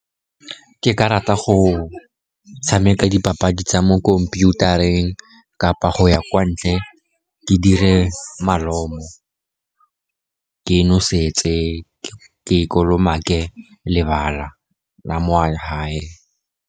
Ke ka rata go tshameka dipapadi tsa mo khomphutareng, kapa go ya kwa ntle, ke dire malomo, ke e noseditse, ke kolomake lebala la mo kwa gae.